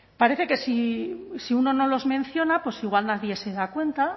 parece que si uno no los menciona pues igual nadie se da cuenta